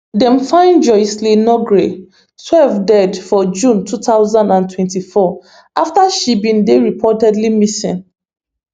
dem find jocelyn nugaray twelve dead for june two thousand and twenty-four after she bin dey reportedly missing